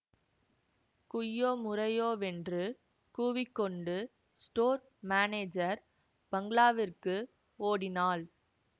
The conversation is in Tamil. குய்யோ முறையோ வென்று கூவிக்கொண்டு ஸ்டோர் மானேஜர் பங்களாவிற்கு ஓடினாள்